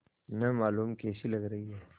न मालूम कैसी लग रही हैं